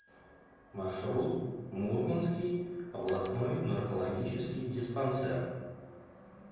маршрут мурманский областной наркологический диспансер